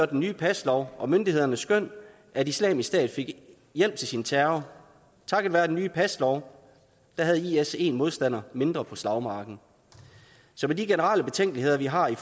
den nye paslov og myndighederne skøn at islamisk stat fik hjælp til sin terror takket være den nye paslov havde is en modstander mindre på slagmarken så med de generelle betænkeligheder vi har i